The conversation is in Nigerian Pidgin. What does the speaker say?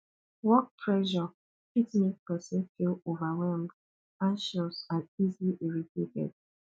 work pressure fit make person feel overwhelmed anxious and easily irritated